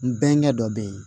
N bɛnkɛ dɔ bɛ ye